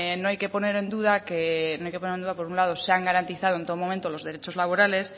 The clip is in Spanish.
no hay que poner en duda que por un lado se han garantizado en todo momento los derechos laborales